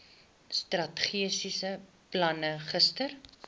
strategiese plan gister